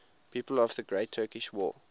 people of the great turkish war